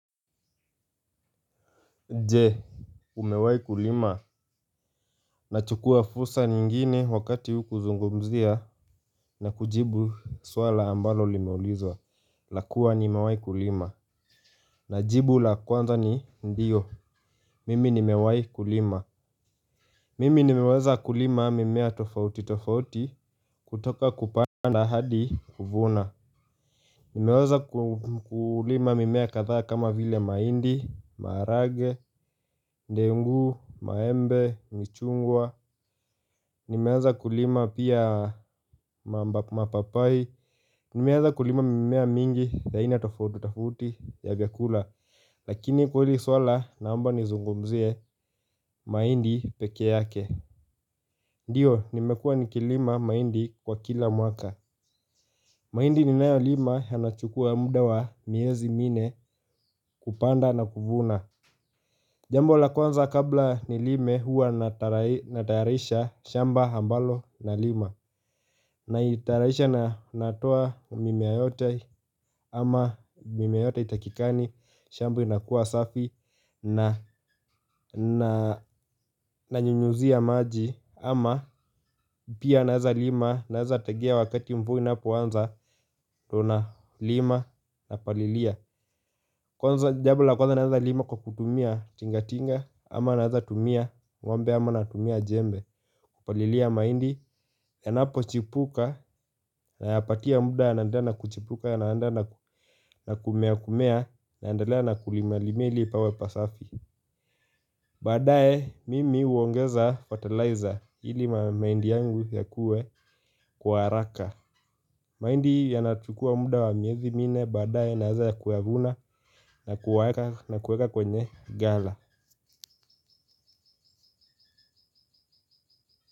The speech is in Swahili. Nje umewahi kulima. Nachukua fursa nyingine wakati huu kuzungumzia na kujibu swala ambalo limeulizwa. La kuwa nimewahi kulima. Na jibu la kwanza ni ndiyo. Mimi nimewahi kulima. Mimi nimeweza kulima mimea tofauti tofauti kutoka kupanda hadi kuvuna. Nimeweza kulima mimea kadhaa kama vile mahindi, maharagwe, ndengu, maembe, michungwa. Nimeweza kulima pia mapapai. Nimeweza kulima mimea mingi ya aina tofauti tofauti ya vyakula lakini kwa hili swala naomba nizungumzie mahindi peke yake. Ndiyo, nimekuwa nikilima mahindi kwa kila mwaka. Mahindi ninayolima yanachukua muda wa miezi minne kupanda na kuvuna. Jambo la kwanza kabla nilime huwa natayarisha shamba ambalo nalima. Naitayarisha natoa mimea yote ama mimea yote haitakikani shamba inakuwa safi na nanyunyuzia maji. Ama pia naweza lima naweza tegea wakati mvua inapoanza ndio nalima napalilia. Kwanza jambo la kwanza nawezalima kwa kutumia tinga tinga ama nawezatumia ng'ombe ama natumia jembe. Kupalilia mahindi yanapochipuka nayapatia muda yanaendelea na kuchipuka yanaendele na kumea kumea na naendelea na kulima limia ili pawe pasafi baadaye mimi huongeza fertilizer ili mahindi yangu yakuwe kwa haraka. Mahindi yanachukuwa muda wa miezi minne baadae naweza kuyavuna na kuweka kwenye gala.